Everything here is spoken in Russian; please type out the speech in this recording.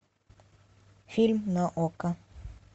фильм на окко